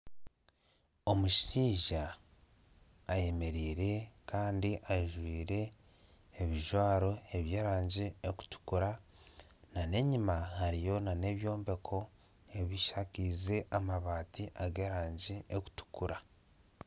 Omushaija ayemereire Kandi ajwaire ebijwaro byerangi erikutukura ana enyuma hariyo nana ebyombeko ebishakaize amabaati agerangi erikutukura